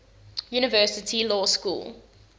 university law school